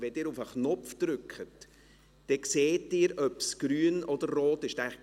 Wenn Sie auf den Knopf drücken, sehen Sie, ob es grün oder rot ist.